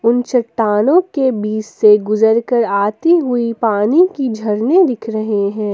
चट्टानों के बीच से गुजर कर आई हुई पानी की झरने दिख रहे हैं।